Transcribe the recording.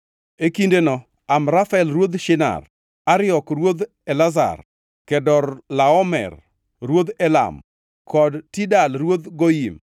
E kindeno Amrafel ruodh Shinar, Ariok ruodh Elasar, Kedorlaomer ruodh Elam kod Tidal ruodh Goyim